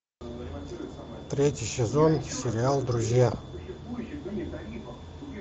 третий сезон сериал друзья